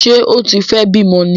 Ṣé ó tí fẹ́ bímọ ní!